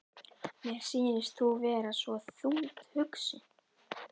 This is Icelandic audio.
Mér sýnist þú vera svo þungt hugsi.